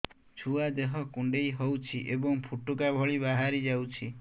ଛୁଆ ଦେହ କୁଣ୍ଡେଇ ହଉଛି ଏବଂ ଫୁଟୁକା ଭଳି ବାହାରିଯାଉଛି